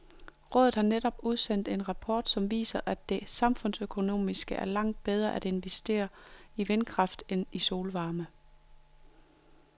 Rådet har netop udsendt en rapport, som viser, at det samfundsøkonomisk er langt bedre at investere i vindkraft end i solvarme.